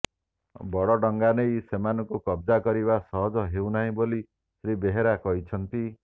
ବଡ ଡଙ୍ଗା ନେଇ ସେମାନଙ୍କୁ କବଜା କରିବା ସହଜ ହେଉନାହିଁ ବୋଲି ଶ୍ରୀ ବେହେରା କହିଛନ୍ତି